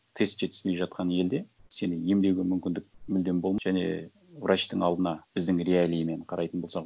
тест жетіспей жатқан елде сені емдеуге мүмкіндік мүлдем және врачтың алдына біздің реалиимен қарайтын болсақ